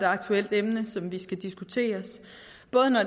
aktuelt emne som vi skal diskutere